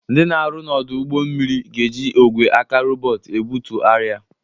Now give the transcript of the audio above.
Ndị na-arụ n'ọdụ ụgbọ mmiri ga-eji ogwe aka rọbọt ebutu arịa.